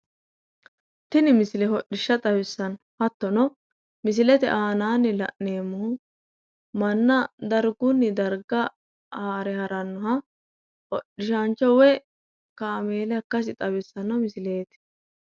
Tini misile hodhishsha xawissanno hattono misilete aananni la'neemmohu manna dargunni darga haare harannoha hodhisaancho woy kameela ikkasi xawissanno misileeti